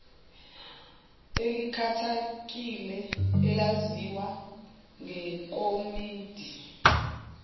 elikhethekile elaziwa ngekomidi